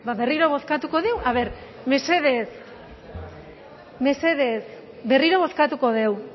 berriro bozkatuko dugu mesedez mesedez berriro bozkatuko dugu